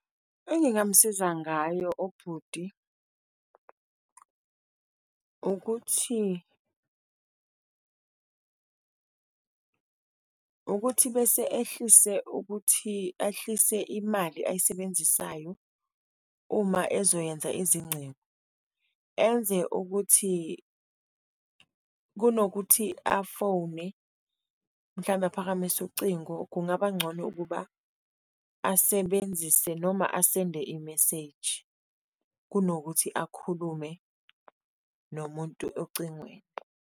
Engingamsiza ngayo ubhuti ukuthi, ukuthi bese ehlise ukuthi, ehlise imali ayisebenzisayo uma ezoyenza izingcingo, enze ukuthi, kunokuthi afowune, mhlambe aphakamise ucingo, kungaba ngcono ukuba asebenzise noma asende i-message kunokuthi akhulume nomuntu ocingweni.